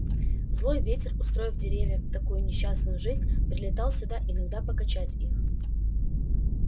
злой ветер устроив деревьям такую несчастную жизнь прилетал сюда иногда покачать их